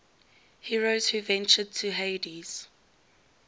heroes who ventured to hades